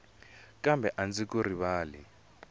kambe a ndzi ku rivali